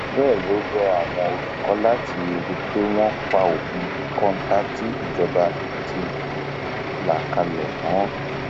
bẹẹ ló rọ àwọn olùkọ láti rí i pé wọn pa òfin kọńtà tí ìjọba ti là kalẹ mọ